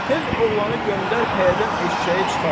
Tez oğlanı göndər pəyədən eşşəyi çıxarsın.